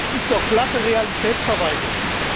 Das ist doch glatte Realitätsverweigerung!